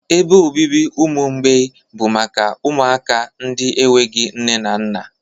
Ebe obibi ụmụ mgbei bụ maka ụmụaka ndị enweghị nne na nna.